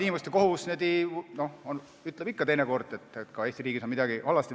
Inimõiguste kohus ütleb ikka teinekord, et ka Eesti riigis on midagi halvasti.